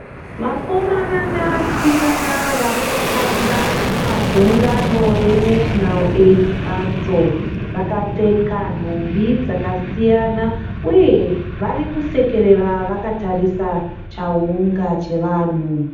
Vakomana nevasikana vari kutamba pagungano reNational Aids Council. Vakapfeka nhumbi dzakasiyana uye varikusekerera vakatarisa chaunga chevanhu.